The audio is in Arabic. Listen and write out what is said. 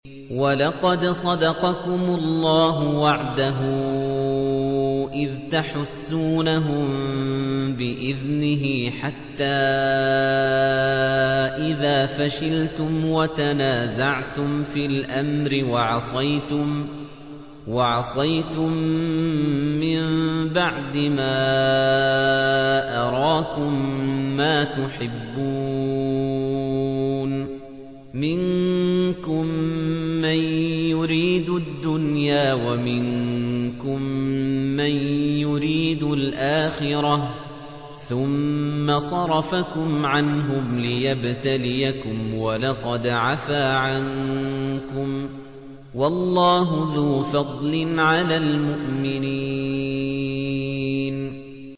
وَلَقَدْ صَدَقَكُمُ اللَّهُ وَعْدَهُ إِذْ تَحُسُّونَهُم بِإِذْنِهِ ۖ حَتَّىٰ إِذَا فَشِلْتُمْ وَتَنَازَعْتُمْ فِي الْأَمْرِ وَعَصَيْتُم مِّن بَعْدِ مَا أَرَاكُم مَّا تُحِبُّونَ ۚ مِنكُم مَّن يُرِيدُ الدُّنْيَا وَمِنكُم مَّن يُرِيدُ الْآخِرَةَ ۚ ثُمَّ صَرَفَكُمْ عَنْهُمْ لِيَبْتَلِيَكُمْ ۖ وَلَقَدْ عَفَا عَنكُمْ ۗ وَاللَّهُ ذُو فَضْلٍ عَلَى الْمُؤْمِنِينَ